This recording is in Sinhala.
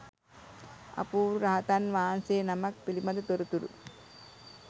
අපූරු රහතන් වහන්සේ නමක් පිළිබඳ තොරතුරු